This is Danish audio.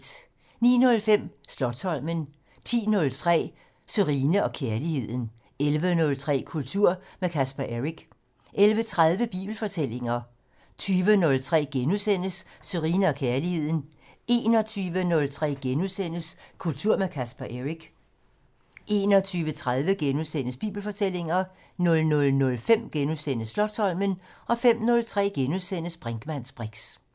09:05: Slotsholmen 10:03: Sørine & Kærligheden 11:03: Kultur med Casper Eric 11:30: Bibelfortællinger 20:03: Sørine & Kærligheden * 21:03: Kultur med Casper Eric * 21:30: Bibelfortællinger * 00:05: Slotsholmen * 05:03: Brinkmanns briks *